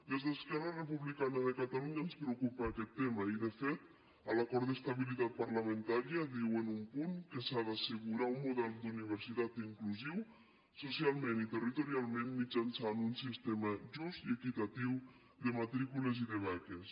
des d’esquerra republicana de catalunya ens preocupa aquest tema i de fet a l’acord d’estabilitat parlamentària diu en un punt que s’ha d’assegurar un model d’universitat inclusiu socialment i territorialment mitjançant un sistema just i equitatiu de matrícules i de beques